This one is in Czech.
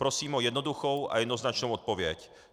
Prosím o jednoduchou a jednoznačnou odpověď.